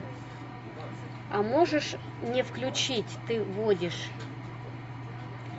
а можешь мне включить ты водишь